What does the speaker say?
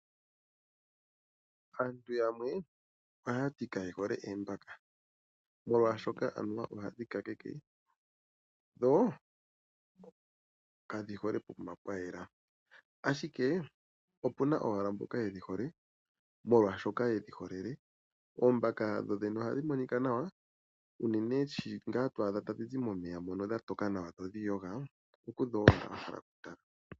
Aantu yamwe ohaya ti kaye hole oombaka molwaashoka anuwa ohadhi kakeke, dho kadhi hole pokuma pwayela, ashike opuna owala mboka yedhi hole molwaashoka yedhi holele. Oombaka dho dhene ohadhi monika nawa, unene shi ngaa twaadha tadhi zi momeya mono dha toka nawadho odhi iyoga, oku dho wa hala okutala.